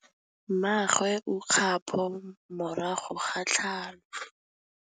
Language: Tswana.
Mmagwe o kgapô morago ga tlhalô.